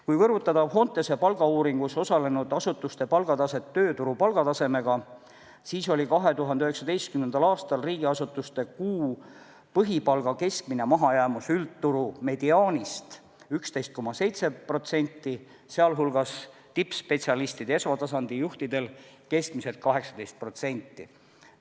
Kui kõrvutada Fontese palgauuringus osalenud asutuste palgataset tööturu palgatasemega, siis oli 2019. aastal riigiasutuste kuu põhipalga keskmine mahajäämus üldturu mediaanist 11,7%, sh tippspetsialistidel ja esmatasandi juhtidel keskmiselt 18%.